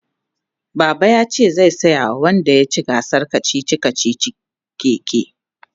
baba yace zai saya wa wanda yaci gasar kachichi kachichin keke